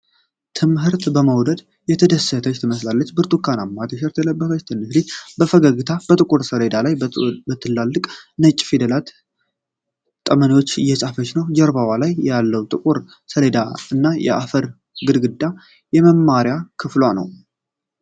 ትምህርትን በመውደድ የተደሰተች ትመስላለች። ብርቱካንማ ቲሸርት የለበሰችው ትንሽ ልጅ በፈገግታ የጥቁር ሰሌዳ ላይ በትላልቅ ነጭ ፊደላት ፊደሎችን በጠመኔ እየጻፈች ነው። ጀርባዋ ላይ ያለው ጥቁር ሰሌዳ እና የአፈር ግድግዳ የመማሪያ ክፍሏ ነዉ።